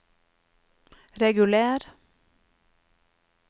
reguler